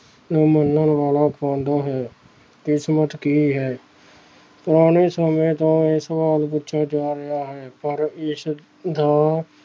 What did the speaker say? ਹੈ ਕਿਸਮਤ ਕੀ ਹੈ, ਪੁਰਾਣੇ ਸਮੇਂ ਤੋਂ ਇਹ ਸਵਾਲ ਪੁੱਛਿਆ ਜਾ ਰਿਹਾ ਹੈ ਪਰ ਇਸ ਦਾ